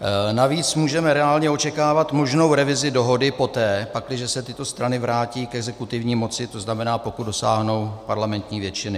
Navíc můžeme reálně očekávat možnou revizi dohody poté, pakliže se tyto strany vrátí k exekutivní moci, to znamená, pokud dosáhnou parlamentní většiny.